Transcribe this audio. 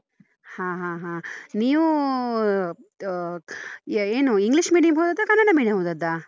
ಹ ಹ ಹಾ. ನೀವು ಏನು English medium ಹೋದದ್ದ? ಕನ್ನಡ medium ಹೋದದ್ದ?